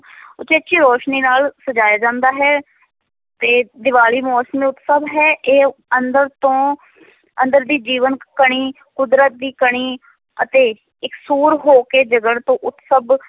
ਉਚੇਚੀ ਰੋਸ਼ਨੀ ਨਾਲ ਸਜਾਇਆ ਜਾਂਦਾ ਹੈ, ਤੇ ਦੀਵਾਲੀ ਮੌਸਮੀ ਉਤਸਵ ਹੈ ਇਹ ਅੰਦਰ ਤੋਂ ਅੰਦਰ ਦੀ ਜੀਵਨ ਕਣੀ, ਕੁਦਰਤ ਦੀ ਕਣੀ ਅਤੇ ਇਕਸੁਰ ਹੋ ਕੇ ਜਗਣ ਤੋਂ ਉਤਸਵ